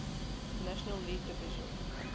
national league division